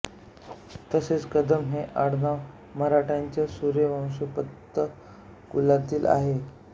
तसेच कदम हे आडनाव मराठ्यांच्या सुर्यवंशमतप्त कुळातील आहे